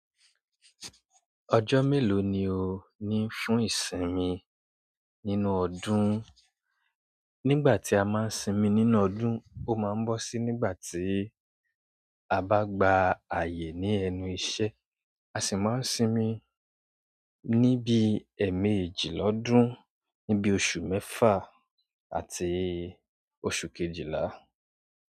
Ọjọ́ mélòó ni o ní fún ìsinmi nínú ọdún? Nígbà tí a máa ń sinmi nínú ọdún, ó máa ń bọ́ sí nígbà tí a bá gba ààyè ní ẹnu iṣẹ́. A sì máa ń sinmi ní bí ẹ̀ẹ̀mejì lọ́dún, ní bí oṣù mẹ́fà àti oṣù kejìlá.